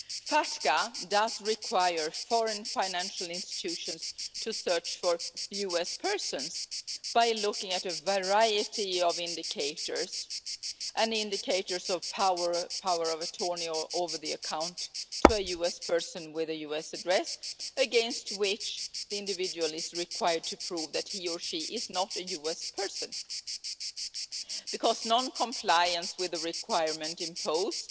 FATCA requires foreign financial institutions to search for US persons by looking at a variety of indicators, including indicators of power of attorney over the account of a US person with a US address, against which the individual is required to prove that he or she is not a US person. Because non-compliance with the requirement imposed